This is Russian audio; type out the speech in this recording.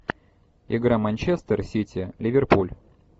игра манчестер сити ливерпуль